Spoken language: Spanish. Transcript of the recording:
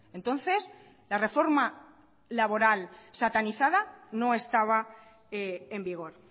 entonces la reforma laboral satanizada no estaba en vigor